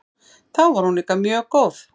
Þá var hún líka mjög góð.